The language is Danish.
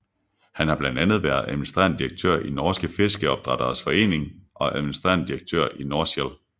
Han har blandt andet været administrerende direktør i Norske Fiskeoppdretteres Forening og administrerende direktør i Norshell